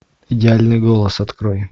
идеальный голос открой